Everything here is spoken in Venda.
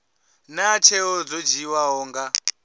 naa tsheo dzo dzhiiwaho nga